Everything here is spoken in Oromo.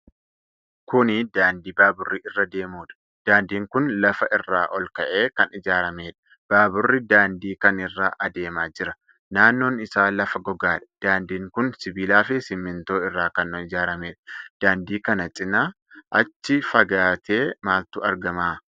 Kuni daandii baaburri irra deemudha. Daandiin kun lafa irraa ol ka'ee kan ijaaramedha. Baaburri daandii kan irra adeemaa jira. Naannoon isaa lafa gogaadha. Daandiin kun sibiila fi simintoo irraa kan ijaaramedha. Daandii kana cinaa achi fagaatee maaltu argama?